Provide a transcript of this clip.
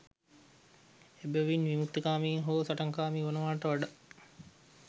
එබැවින් විමුක්තිකාමී හෝ සටන්කාමී වනවාට වඩා